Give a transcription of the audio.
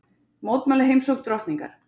Mótmæla heimsókn drottningar